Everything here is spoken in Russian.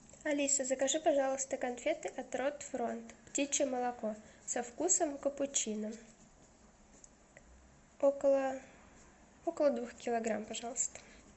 алиса закажи пожалуйста конфеты от рот фронт птичье молоко со вкусом капучино около около двух килограмм пожалуйста